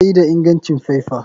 Bayi da ingancin faifa.